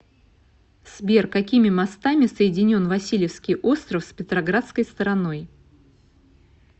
сбер какими мостами соединен васильевский остров с петроградской стороной